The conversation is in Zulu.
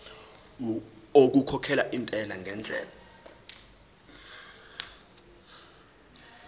okukhokhela intela ngendlela